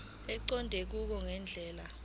eqonde ngqo ngendlela